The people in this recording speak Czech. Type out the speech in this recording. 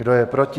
Kdo je proti?